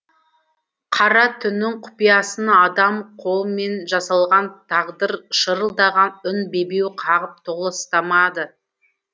қара түннің құпиясы адам қолыменжасалған тағдыршырылдаған үн бебеу қағып толастамады